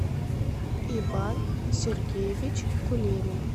иван сергеевич кулемин